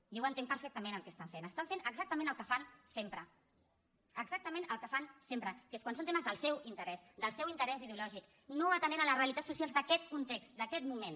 jo ho entenc perfectament el que estan fent estan fent exactament el que fan sempre exactament el que fan sempre que és quan són temes del seu interès del seu interès ideològic no atenent les realitats socials d’aquest context d’aquest moment